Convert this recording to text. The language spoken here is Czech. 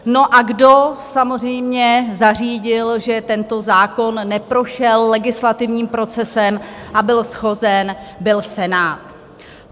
No, a kdo samozřejmě zařídil, že tento zákon neprošel legislativním procesem a byl shozen, byl Senát.